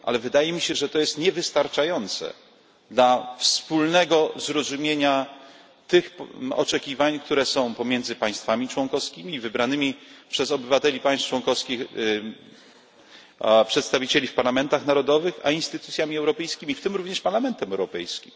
Ale wydaje mi się, że to jest niewystarczające dla wspólnego zrozumienia tych oczekiwań, które są pomiędzy państwami członkowskimi i wybranymi przez obywateli państw członkowskich przedstawicielami w parlamentach narodowych a instytucjami europejskimi, w tym również Parlamentem Europejskim.